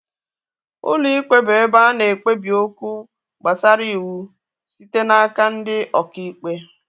Ụlọ ikpe bụ ụlọ ebe ana ekpebi okwu gbasara ịwụ site n'aka ndị ọkà ikpe